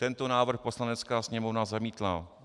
Tento návrh Poslanecká sněmovna zamítla.